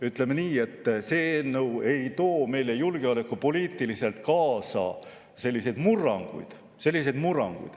Ütleme nii, et see eelnõu ei too julgeolekupoliitiliselt kaasa selliseid murranguid.